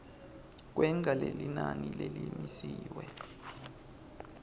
kwengca lelinani lelimisiwe